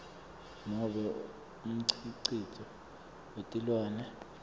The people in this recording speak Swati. nobe umkhicito wetilwane